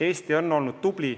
Eesti on olnud tubli.